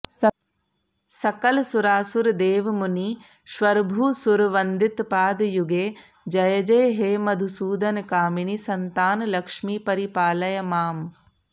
सकलसुरासुरदेवमुनीश्वरभूसुरवन्दितपादयुगे जय जय हे मधुसूदनकामिनि सन्तानलक्ष्मि परिपालय माम्